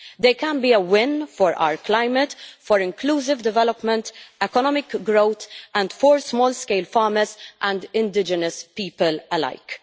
They can be a win for our climate, for inclusive development, for economic growth, and for small scale farmers and indigenous people alike.